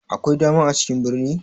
Akwai dama a cikin birni?